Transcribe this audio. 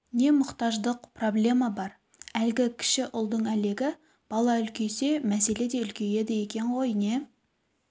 не мұқтаждық проблема бар әлгі кіші ұлдың әлегі бала үлкейсе мәселе де үлкейеді екен ғой не